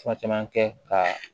Fura caman kɛ ka